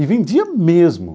E vendia mesmo.